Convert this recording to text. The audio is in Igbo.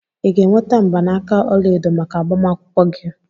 Ị ga-enweta mgbanaka ọla edo maka agbamakwụkwọ gị?